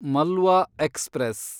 Malwa express